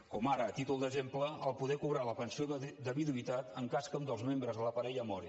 com ara a títol d’exemple poder cobrar la pensió de viduïtat en cas que un dels membres de la parella mori